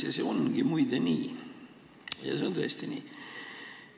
Muide, see ongi nii – see on tõesti nii.